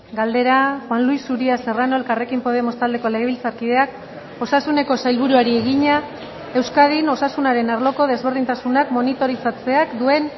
galdera juan luis uria serrano elkarrekin podemos taldeko legebiltzarkideak osasuneko sailburuari egina euskadin osasunaren arloko desberdintasunak monitorizatzeak duen